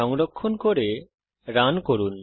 সংরক্ষণ করে রান করুন